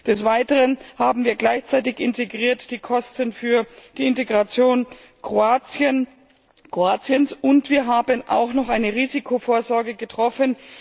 Des Weiteren haben wir gleichzeitig die Kosten für die Integration Kroatiens integriert, und wir haben auch noch eine Risikovorsorge getroffen.